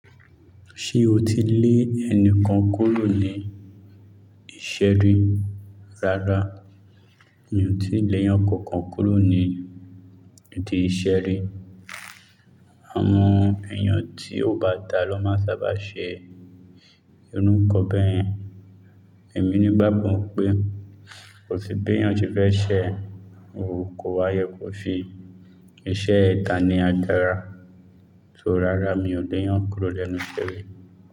Ṣé o ti lé ẹnìkan kúrò ní ìṣe ri rárá? Mi ò tíì lẹ́yàn kankan kúrò ní ìdí ìṣe ri. Àwọn èèyàn tí ó bá da ló máa sábà ṣe irú nnkan bẹ́yen. Èmi nígbàgbọ́ pé kò sí béyàn ti fẹ́ ṣẹ̀, o kó wáyé kò fi iṣẹ́ da ní àgàrà. So rárá mi ò lè yàn kúrò lẹ́nu ìṣe ri.